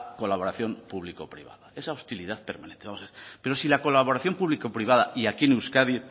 colaboración público privada esa hostilidad permanente vamos a ver pero si la colaboración público privada y aquí en euskadi